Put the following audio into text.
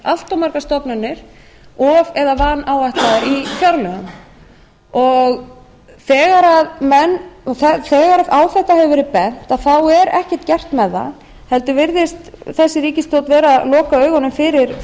allt of margar stofnanir of eða vanáætlaðar í fjárlögum þegar á þetta hefur verið bent er ekkert gert með það heldur virðist þessi ríkisstjórn vera að loka augunum